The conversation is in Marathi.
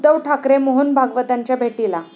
उद्धव ठाकरे मोहन भागवतांच्या भेटीला